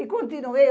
E continuei.